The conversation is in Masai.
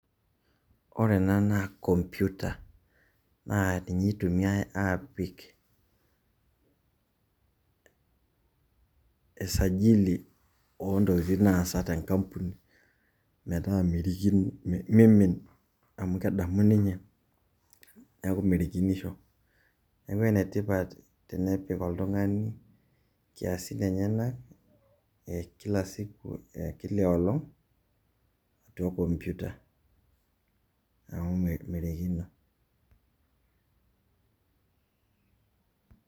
Ore ena naa computer. Naa ninye itumiai apik e sajili ontokiting' naasa tenkampuni, metaa merikino miimin, amu kedamu ninye, neeku merikinisho. Neeku enetipat tenepik oltung'ani nkiasin enyanak e kila siku, ekila olong',atua computer. Neeku merikino.